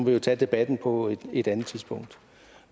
jo tage debatten på et andet tidspunkt